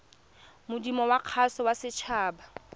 modumo wa kgaso ya setshaba